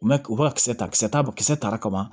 U bɛ u bɛ ka kisɛ ta kisɛ ta kisɛ ta ka ban